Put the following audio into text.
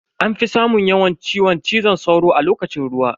Anfi samun yawan ciwon cizo sauro a lokacin ruwa.